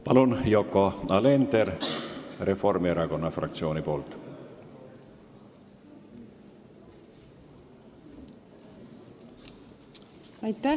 Palun, Yoko Alender Reformierakonna fraktsiooni nimel!